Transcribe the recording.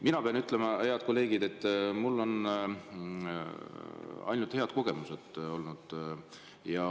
Mina pean ütlema, head kolleegid, et mul on ainult head kogemused olnud.